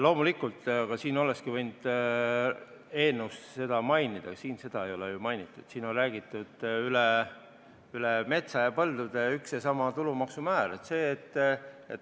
Loomulikult, aga siis olekski võinud eelnõus seda mainida, siin seda ei ole ju mainitud, siin on räägitud üle metsa ja põldude ühest ja samast tulumaksu määrast.